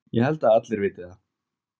Ég held að allir viti það.